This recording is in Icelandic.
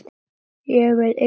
Ég verð enga stund!